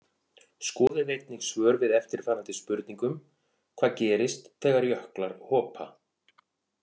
Skoðið einnig svör við eftirfarandi spurningum Hvað gerist þegar jöklar hopa?